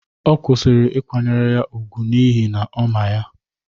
Ọ kwụsịrị ịkwanyere ya ùgwù n’ihi na ọ ma ya